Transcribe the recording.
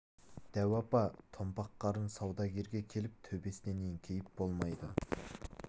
дәу апа томпақ қарын саудагерге келіп төбесінен еңкейіп болмайды